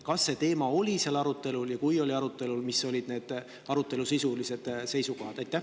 Kas see teema oli komisjonis arutelul ja kui oli, siis millised sisulised seisukohad?